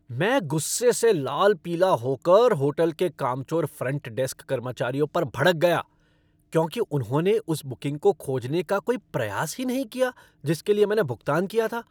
मैं गुस्से से लाल पीला होकर होटल के कामचोर फ़्रंट डेस्क कर्मचारियों पर भड़क गया क्योंकि उन्होंने उस बुकिंग को खोजने का कोई प्रयास ही नहीं किया जिसके लिए मैंने भुगतान किया था।